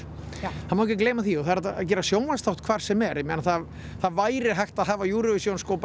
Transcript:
það má ekki gleyma því og það er hægt að gera sjónvarpsþátt hvar sem er ég meina það væri hægt að hafa Eurovision sko bara